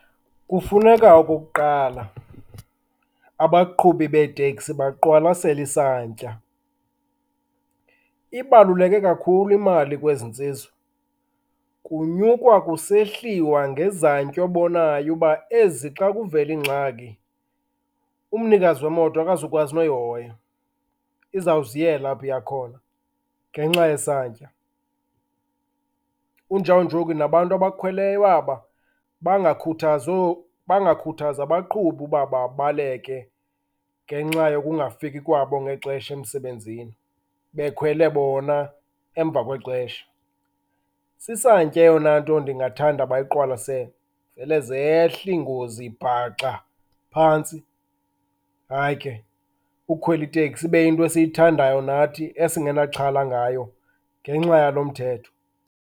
Kufuneka okokuqala abaqhubi beeteksi baqwalasele isantya. Ibaluleke kakhulu imali kwezi ntsizwa, kunyukwa kusehliwa ngezantya obonayo uba ezi xa kuvela ingxaki, umnikazi wemoto akazukwazi noyihoya. Izawuziyela apho iya khona ngenxa yesantya. Kunjawunjoku nabantu abakhweleyo aba bangakhuthazi bangakhuthazi abaqhubi uba babaleke ngenxa yokungafiki kwabo ngexesha emsembenzini, bekhwele bona emva kwexesha. Sisantya eyona nto ndingathanda bayiqwalasele, vele zehle iingozi bhaxa phantsi. Hayi ke, ukukhwela iteksi ibe yinto esiyithandayo nathi esinganaxhala ngayo ngenxa yalo mthetho.